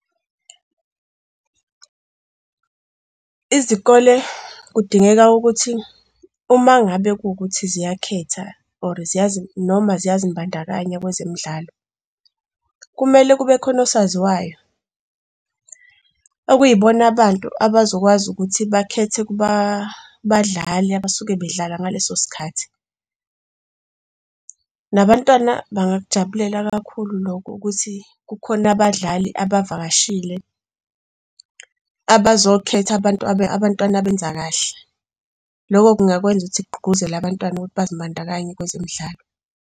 Izikole kudingeka ukuthi uma ngabe kuwukuthi ziyakhetha or noma ziyazimbandakanye kwezemidlalo, kumele kube khona osaziwayo okuyibona abantu abazokwazi ukuthi bakhethe kubadlali abasuke bedlala ngaleso sikhathi. Nabantwana bangakujabulela kakhulu lokho ukuthi kukhona abadlali abavakashile abazokhetha abantwana abenza kahle. Lokho kungakwenza ukuthi kugqugquzelwe abantwana ukuthi bazibandakanye kwezemidlalo.